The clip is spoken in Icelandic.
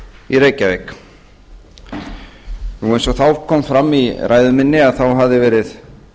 í reykjavík eins og þá kom fram í ræðu minni þá hafði verið